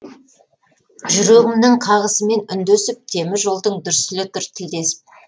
жүрегімнің қағысымен үндесіп темір жолдың дүрсілі тұр тілдесіп